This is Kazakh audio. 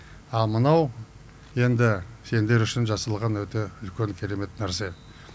ал мынау енді сендер үшін жасалған өте үлкен керемет нәрсе